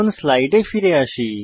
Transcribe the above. স্লাইডে ফিরে যাই